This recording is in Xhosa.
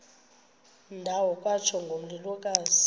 ndawo kwatsho ngomlilokazi